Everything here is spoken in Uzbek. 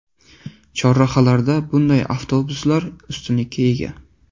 Chorrahalarda bunday avtobuslar ustunlikka ega.